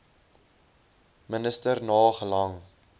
minister na gelang